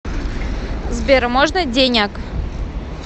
сбер можно деняк